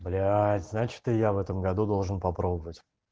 бляять значит и я в этом году должен попробовать